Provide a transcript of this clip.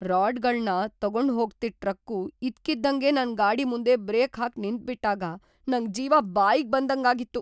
ರಾಡ್‌ಗಳ್ನ ತಗೊಂಡ್‌ಹೋಗ್ತಿದ್‌ ಟ್ರಕ್ಕು ಇದ್ಕಿದ್ದಂಗೆ ನನ್ ಗಾಡಿ ಮುಂದೆ ಬ್ರೇಕ್‌ ಹಾಕ್‌ ನಿಂತ್ಬಿಟಾಗ ನಂಗ್‌ ಜೀವ ಬಾಯಿಗ್‌ ಬಂದಂಗಾಗಿತ್ತು.